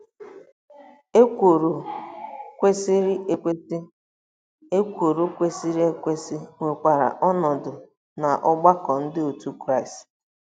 Ekworo kwesịrị ekwesị Ekworo kwesịrị ekwesị nwekwara ọnọdụ n'ọgbakọ Ndị Otú Kristi.